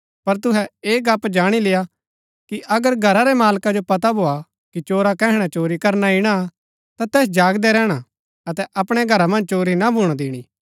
पर तुहै ऐह गप्‍प जाणी लेय्आ कि अगर घरा रै मालका जो पता भोआ कि चोरा कैहणै चोरी करना ईणा ता तैस जागदै रैहणा अतै अपणै घरा मन्ज चोरी ना भूणा दिणी